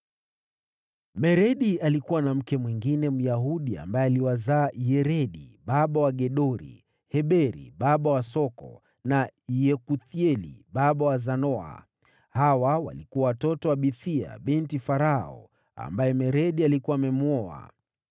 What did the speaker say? Meredi alikuwa na mke mwingine Myahudi ambaye aliwazaa: Yeredi baba wa Gedori, Heberi baba wa Soko na Yekuthieli baba wa Zanoa. Hawa walikuwa watoto wa Bithia binti Farao, ambaye Meredi alikuwa amemwoa.